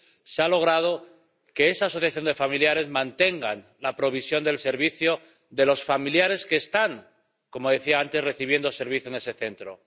se ha logrado que esa asociación de familiares mantenga la provisión del servicio de los familiares que están, como decía antes, recibiendo servicios en ese Centro.